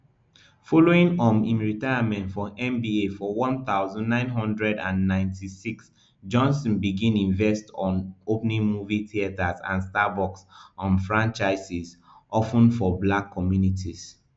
following um im retirement from nba for one thousand, nine hundred and ninety-six johnson begin investon opening movie theaters and starbucks um franchises of ten for black communities